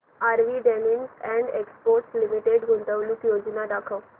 RV denims and exports limited गुंतवणूक योजना दाखव